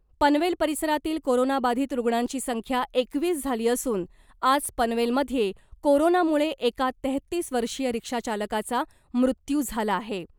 पनवेल परिसरातील कोरोना बाधित रुग्णांची संख्या एकवीस झाली असून आज पनवेलमध्ये कोरोनामुळे एका तेहतीस वर्षीय रिक्षा चालकाचा मृत्यू झाला आहे .